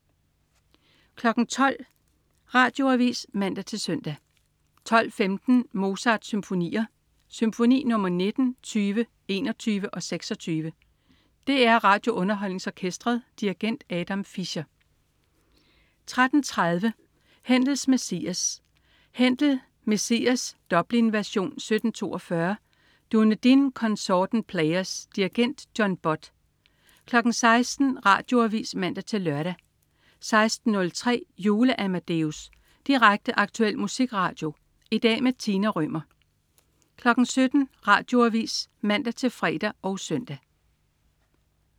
12.00 Radioavis (man-søn) 12.15 Mozart-symfonier. Symfoni nr. 19, 20, 21 og 26. DR RadioUnderholdningsOrkestret. Dirigent: Adam Fischer 13.30 Händels Messias. Händel: Messias (Dublin-version, 1742). Dunedin Consort & Players. Dirigent: John Butt 16.00 Radioavis (man-lør) 16.03 Jule-Amadeus. Direkte, aktuel musikradio. I dag med Tina Rømer 17.00 Radioavis (man-fre og søn)